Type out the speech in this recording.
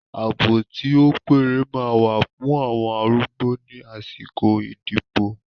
Àbọ̀ tí ó péye máa wà fún àwọn arúgbó ní àsìkò ìdìbò.